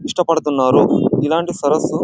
ఇష్టపడుతున్నారు ఇలాంటి సరస్సు --